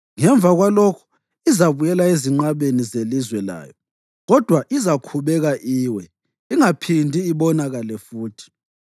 Ngemva kwalokhu izabuyela ezinqabeni zelizwe layo kodwa izakhubeka iwe, ingaphindi ibonakale futhi.